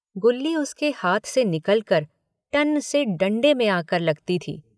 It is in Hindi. गुल्ली उसके हाथ से निकलकर टन से डण्डे में आकर लगती थी।